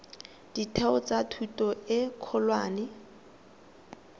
ditheo tsa thuto e kgolwane